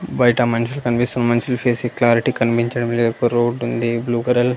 బయట ఆ మనిషి కనిపిస్తూ మనుషుల ఫేస్ క్లారిటీ కనిపించడం లేదు ఒక రోడ్ ఉంది బ్లూ కలర్ .